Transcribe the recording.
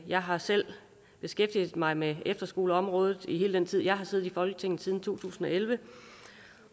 jeg har selv beskæftiget mig med efterskoleområdet i al den tid jeg har siddet i folketinget siden to tusind og elleve